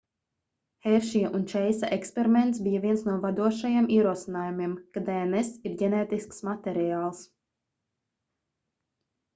heršija un čeisa eksperiments bija viens no vadošajiem ierosinājumiem ka dns ir ģenētisks materiāls